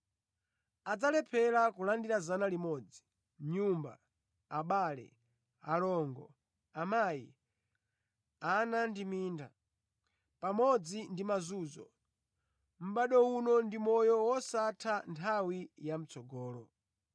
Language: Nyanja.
adzalephera kulandira 100 (nyumba, abale, alongo, amayi, ana ndi minda, pamodzi ndi mazunzo) mʼbado uno ndi moyo wosatha nthawi ya mʼtsogolo.